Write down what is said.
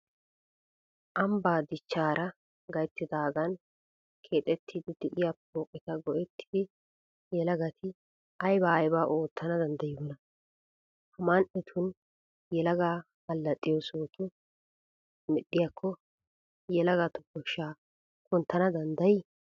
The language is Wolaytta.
Ambbaa dichchaara gayttidaagan keexettiiddi de'iya pooqeta go"ettidi yelagati aybaa aybaa oottana danddayiyoonaa? Ha man"etun yelagi allaxxiyo sohota medhdhiyakko yelagatu koshshaa kunttana danddayii?